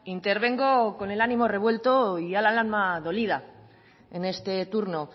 intervengo con el ánimo revuelto y el alma dolida en este turno